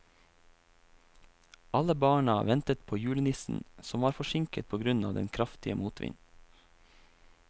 Alle barna ventet på julenissen, som var forsinket på grunn av den kraftige motvinden.